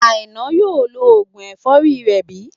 Àìná yóò lo oògùn ẹ̀fọ́rí rẹ̀ bí?